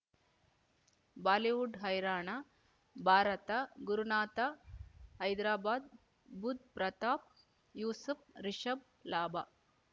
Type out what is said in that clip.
Bollywood ಹೈರಾಣ ಭಾರತ ಗುರುನಾಥ ಹೈದರಾಬಾದ್ ಬುಧ್ ಪ್ರತಾಪ್ ಯೂಸುಫ್ ರಿಷಬ್ ಲಾಭ